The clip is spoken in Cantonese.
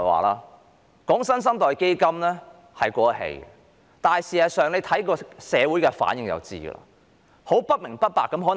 討論"新生代基金"已經過時，大家看社會的反應便知道。